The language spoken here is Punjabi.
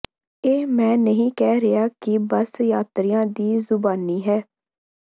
ਇਹ ਮੈਂ ਨਹੀਂ ਕਹਿ ਰਿਹਾ ਇਹ ਬੱਸ ਯਾਤਰੀਆਂ ਦੀ ਜ਼ੁਬਾਨੀ ਹੈ